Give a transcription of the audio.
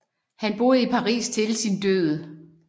Han boede i Paris til sin død